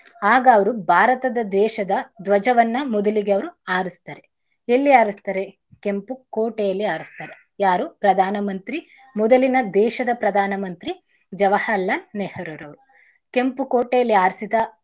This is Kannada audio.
ಆಗ ಅವ್ರು ಭಾರತದ ದೇಶದ ಧ್ವಜವನ್ನ ಮೊದಲಿಗೆ ಅವ್ರು ಆಡಿಸ್ತಾರೆ. ಎಲ್ಲಿ ಆಡಿಸ್ತಾರೆ? ಕೆಂಪು ಕೋಟೆಯಲ್ಲಿ ಆಡಿಸ್ತಾರೆ. ಯಾರು? ಪ್ರಧಾನ ಮಂತ್ರಿ ಮೊದಲಿನ ದೇಶದ ಪ್ರಧಾನ ಮಂತ್ರಿ ಜವರಹರ್ಲಾಲ್ ನೆಹ್ರೂರವರು. ಕೆಂಪು ಕೋಟೆಯಲ್ಲಿ ಹಾರ್ಸಿದ.